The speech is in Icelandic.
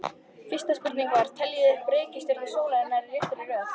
Fyrsta spurning var: Teljið upp reikistjörnur sólar í réttri röð.